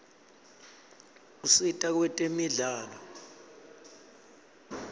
usita kwetemidlalo